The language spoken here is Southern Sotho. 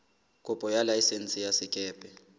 kopo ya laesense ya sekepe